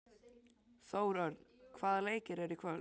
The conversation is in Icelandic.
Þórörn, hvaða leikir eru í kvöld?